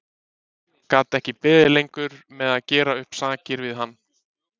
Gat ekki beðið lengur með að gera upp sakir við hann.